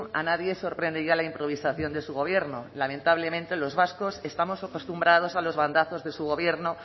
a nadie sorprende ya la improvisación de su gobierno lamentablemente los vascos estamos acostumbrados a los bandazos de su gobierno